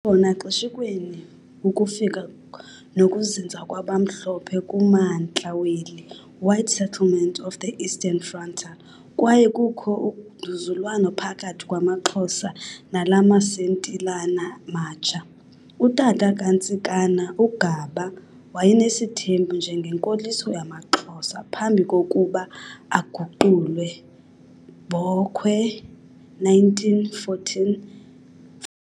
Wayekhona xeshikweni ukufika nokuzinza kwabamhlophe kumantla weli "White settlement of the Eastern Frontier," kwaye kukho ungquzulwano phakathi kwamaXhosa nalamasentilana matsha. Utata kaNtsikana, uGaba wayenesithembu njengenkoliso yamaXhosa phambi kokuba aguqulwe, Bokwe 1914.